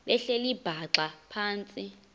behleli bhaxa phantsi